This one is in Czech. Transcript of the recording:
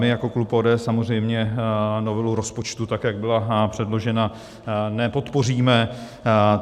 My jako klub ODS samozřejmě novelu rozpočtu, tak jak byla předložena, nepodpoříme.